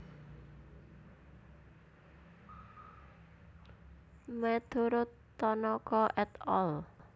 Meturut Tanaka et al